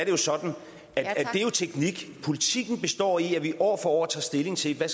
jo sådan at det er teknik politikken består i at vi år for år tager stilling til hvad